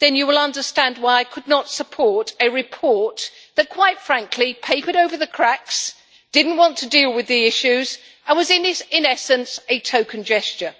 then you will understand why I could not support a report that, quite frankly, papered over the cracks, did not want to deal with the issues and was in essence a token gesture.